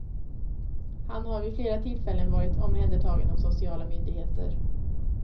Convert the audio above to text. Han har vid flera tillfällen varit omhändertagen av sociala myndigheter.